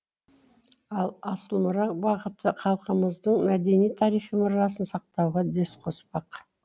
ал асыл мұра бағыты халқымыздың мәдени тарихи мұрасын сақтауға үлес қоспақ